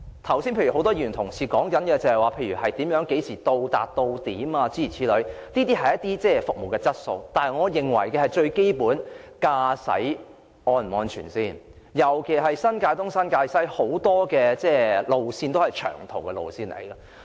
剛才很多議員提出巴士何時到達或是否準點的問題，這些是服務質素的問題，但我認為最基本的是駕駛是否安全，尤其是新界東和新界西有很多長途巴士路線。